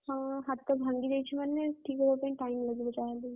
ହଁ ହାତ ଭାଙ୍ଗିଯାଇଛି ମାନେ ଠିକ୍ ହବା ପାଇଁ ସମୟ ଲାଗିବ ଯାହାବି ହେଲେ।